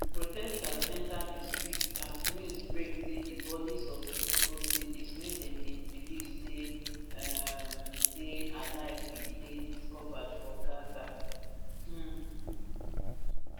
protesters enta di streets as news break say di bodis of six hostages wey dem bin believe say um dey alive bin dey discovered for gaza um